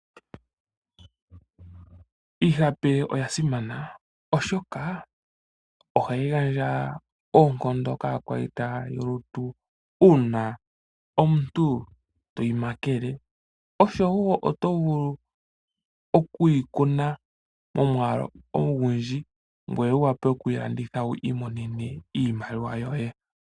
Iihape oyasimana oshoka ohayi gandja oonkondo kakwayita yoolutu una omuntu toyi makele, osho wo omuntu oto vulu okuyi kuna momwaalu ogundji ngoye wuwape okuyi landitha opo wo mone mo iimaliwa yoye.